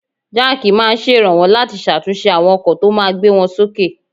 Jack máa ń ṣèrànwọ́ láti ṣàtúnṣe àwọn ọkọ̀ tó máa gbé wọn sókè